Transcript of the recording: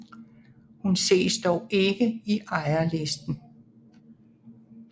Hun ses dog ikke i ejerlisten